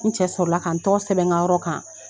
N cɛ sɔrɔ la ka n tɔgɔ sɛbɛn n ka yɔrɔ kan.